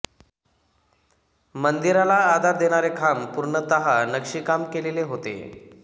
मंदिराला आधार देणारे खांब पूर्णतः नक्षीकाम केलेले होते